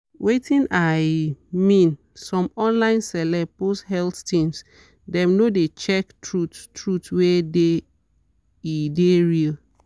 wetin i mean some online celeb post health things dem no de check truth-truth wey-da e dey real.